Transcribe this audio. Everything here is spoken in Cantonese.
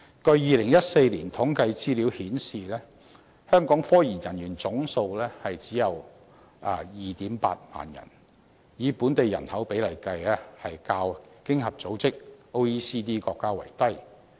據2014年統計資料顯示，香港科研人員總數只有 28,000 人，以本地人口比例計，較經濟合作與發展組織國家為低。